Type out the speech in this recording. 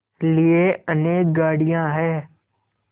लिए अनेक गाड़ियाँ हैं